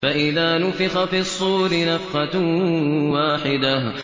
فَإِذَا نُفِخَ فِي الصُّورِ نَفْخَةٌ وَاحِدَةٌ